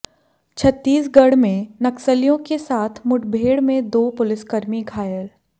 छत्तीसगढ़ में नक्सलियों के साथ मुठभेड़ में दो पुलिसकर्मी घायल